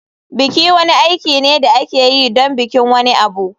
Biki wani aiki ne da ake yi don bikin wani abu.